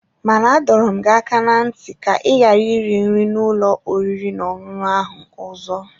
Mana-adọrọ m gị aka ná ntị ka ị ghara iri nri n’ụlọ oriri na ọṅụṅụ ahụ ọzọ.